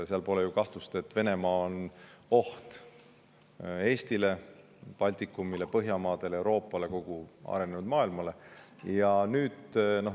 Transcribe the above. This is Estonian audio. Pole ju kahtlust, et Venemaa on oht Eestile, Baltikumile, Põhjamaadele, Euroopale ja kogu arenenud maailmale.